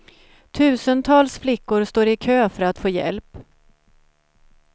Tusentals flickor står i kö för att få hjälp.